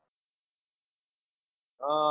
હમ